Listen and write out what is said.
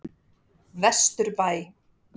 Vesturbæ